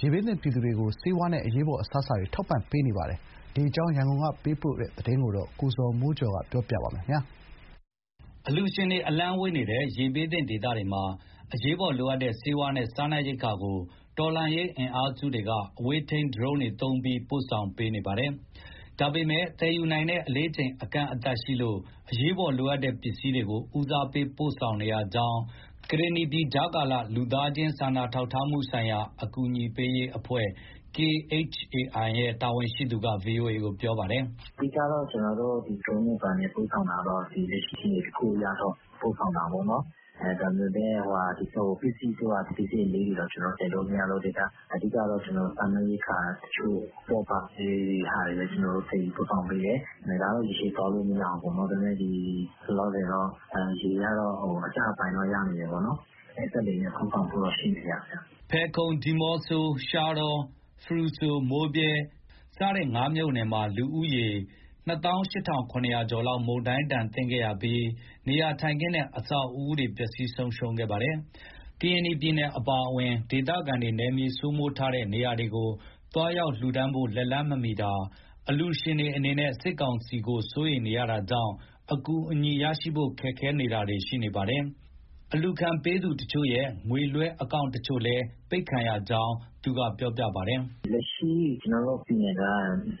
ရေဘေးသင့်ပြည်သူတွေအတွက် ဆေးဝါးနဲ့အရေးပေါ် အစားအစာတွေ ထောက်ပံ့ပေးနေပါတယ်။ ဒီအကြောင်း ရန်ကုန်ကပေးပို့တဲ့သတင်းကို ကိုဇော်မိုးကျော်က တင်ပြပေးထားပါတယ်။ အလှူရှင်တွေ အလှမ်းဝေးနေတဲ့ ရေဘေးသင့်ဒေသတွေမှာ အရေးပေါ်လိုအပ်တဲ့ ဆေးဝါးနဲ့စားနပ်ရိက္ခာတွေကို တော်လှန်ရေးအင်အားစုတွေက အဝေးထိန်း ဒရုန်းတွေသုံးပြီး ပို့ဆောင်ပေးနေပါတယ်။ ဒါပေမဲ့ သယ်ယူနိုင်တဲ့အလေးချိန်က အကန့်အသတ်ရှိလို့ အရေးပေါ်လိုအပ်တဲ့ ပစ္စည်းတွေကို ဦးစားပေး ပို့ပေးနေရကြောင်း ကရင်နီပြည် ကြားကာလ လူသားချင်းစာနာ ထောက်ထားမှုဆိုင်ရာ အကူအညီပေးရေးအဖွဲ့ ရဲ့ တာဝန်ရှိသူက ဗွီအိုအေကို ပြောပါတယ်။ "အဓိက ကျနော်တို့ ဒရုန်းတွေဘာတွေနဲ့ပို့ဆောင်တာက လက်ရှိ အခြေအနေတခုအရ ပို့ဆောင်တာပေါ့နော်၊ ဒါပေမဲ့ ပစ္စည်းအလေးကြီးတွေ တော့ သယ်လို့မရလို့ အဓိက စားနပ်ရိက္ခာတချို့ အပေါ့အပါးလေးတွေပဲ သယ်ယူပို့ဆောင်ပေးတယ်။ ဒါကတော့ ရေရှည်သွားလို့ မရဘူးပေါ့နော်၊ ဒါပေမဲ့ လောလောဆယ် ရေကတော့ အကျပိုင်းတော့ ရောက်နေတယ်ပေါ့နော်။ ရေကျလာရင် ကျနော်တို့ စက်လှေနဲ့ ပို့ဆောင်ဖို့တော့ ရှိတယ်ဗျ။" ဖယ်ခုံ၊ ဒီမော့ဆို၊ ရှားတော၊ ဖရူဆို၊ မိုးဗြဲ ဒီငါးမြို့နယ်မှာ လူဦးရေက ၂၈,၇၀၀ ကျော်လောက် မုန်တိုင်းဒဏ်ခံခဲ့ရပြီး နေရာထိုင်ခင်းနဲ့ အဆောက်အဦတွေ ပျက်စီးဆုံးရှုံးခဲ့ပါတယ်။ ကရင်နီပြည်နယ်အပါအဝင် ဒေသခံတွေ နယ်မြေစိုးမိုးထားတဲ့ နေရာတွေကို သွားရောက်လှူဒါန်းဖို့ လက်လှမ်းမမီတာ၊ အလှူရှင်တွေအနေနဲ့ စစ်ကောင်စီကို စိုးရိမ်နေရတာကြောင့် အကူအညီရရှိဖို့ အခက်အခဲတွေရှိနေပါတယ်။ အလှူခံပေးသူတချို့ရဲ့ ငွေလွှဲအကောင့်တချို့လည်း အပိတ်ခံရကြောင်း သူကပြောပါတယ်။ "လက်ရှိ ကျနော်တို့ပြည်နယ်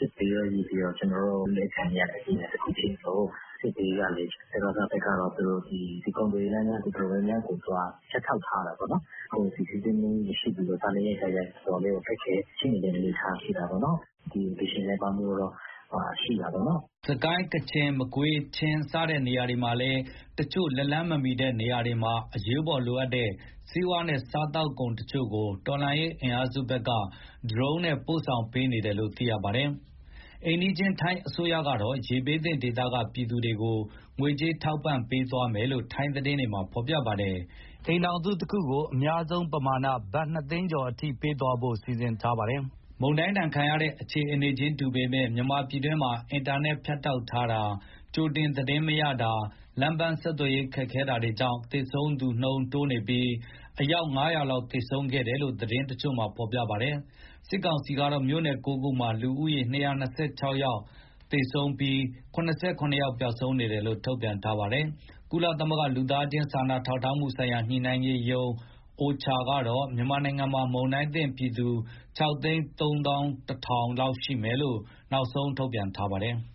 က စစ်ဘေးရော၊ ရေဘေးရော အလူးအလဲခံနေရတဲ့ ပြည်နယ်တခုဖြစ်သလို စစ်ဘေးကလည်း စကစဘက်က ကုန်သွယ်ရေးလမ်းကြောင်း တော်တော်များများကို သူက ဖြတ်တောက် ထားတာပေါ့နော်။ ကုန်စည်စီးဆင်းမှု မရှိသလို စားနပ်ရိက္ခာက တော်တော်လေး ခက်ခဲတဲ့အနေအထား ရှိတာပေါ့နော်။ အလှူရှင်နည်းပါးမှုကတော့ ရှိတာပေါ့နော်။" စစ်ကိုင်း၊ ကချင်၊ မကွေး၊ ချင်း စတဲ့နေရာတွေမှာလည်း တချို့လက်လှမ်းမမီတဲ့ နေရာတွေမှာ အရေးပေါ်လိုအပ်တဲ့ ဆေးဝါးနဲ့ စားသောက်ကုန် တချို့ကို တော်လှန်ရေးအင်အားစုတွေဘက်က ဒရုန်းနဲ့ ပို့ဆောင်ပေးနေတယ်လို့ သိရပါတယ်။ အိမ်နီးချင်း ထိုင်းအစိုးရကတော့ ရေဘေးသင့်ဒေသက သူတို့ပြည်သူတွေကို ငွေကြေးထောက်ပံ့ပေးသွားမယ်လို့ ထိုင်းသတင်းတွေက ဖော်ပြပါတယ်။ အိမ်ထောင်စုတခုကို အများဆုံးပမာဏ ဘတ်နှစ်သိန်းကျော်အထိ ပေးသွားဖို့ စီစဉ်ထားတာပါ။ မုန်တိုင်းဒဏ်ခံရတဲ့ အခြေအနေခြင်းတူပေမဲ့ မြန်မာပြည်တွင်းမှာ အင်တာနက် ဖြတ်တောက်ထားတာ၊ ကြိုတင်သတင်းမရတာ၊ လမ်းပန်းဆက်သွယ်ရေး ခက်ခဲတာတွေကြောင့် သေဆုံးသူတိုးနေတုန်းဖြစ်ပြီး အယောက် ၅၀၀ လောက် သေဆုံးခဲ့တယ်လို့ သတင်းတချို့က ဖော်ပြပါတယ်။ စစ်ကောင်စီကတော့ မြို့နယ် ၉ ခုမှာ လူဦးရေ ၂၂၆ ဦးသေဆုံးပြီး ၇၇ ယောက် ပျောက်ဆုံးနေတယ်လို့ ထုတ်ပြန်ထားပါတယ်။ ကုလသမဂ္ဂ လူသားချင်း စာနာထောက်ထားမှုဆိုင်ရာ ညှိနှိုင်းရေးရုံး ကတော့ မြန်မာနိုင်ငံမှာ မုန်တိုင်းသင့်ပြည်သူ ၆၃၁,၀၀၀ လောက်ရှိမယ်လို့ နောက်ဆုံး ထုတ်ပြန်ထားပါတယ်။